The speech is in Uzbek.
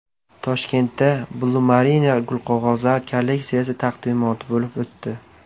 Toshkentda Blumarine gulqog‘ozlar kolleksiyasi taqdimoti bo‘lib o‘tdi.